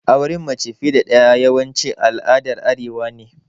Auren mace fiƴe da daƴa yawanci al'aɗar arewa ne.